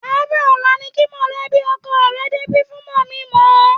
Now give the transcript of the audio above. Àárọ̀ ọ̀la ni kí mọ̀lẹ́bí ọkọ rẹ débi fún mọ̀-mí-n-mọ̀-ẹ́.